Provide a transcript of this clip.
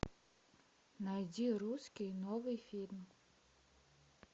найди русский новый фильм